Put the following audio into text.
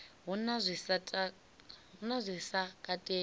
hu na zwi sa katelwi